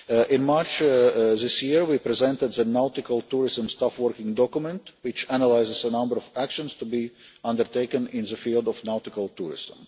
In March this year, we presented the nautical tourism staff working document, which analyses a number of actions to be undertaken in the field of nautical tourism.